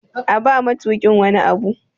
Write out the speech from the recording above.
A ba matukin wani Abu!